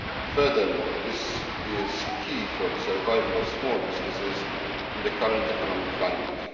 Furthermore, this is key for the survival of small businesses in the current economic climate.